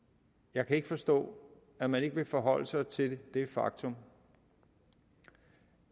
jeg kan ikke forstå at man ikke vil forholde sig til det faktum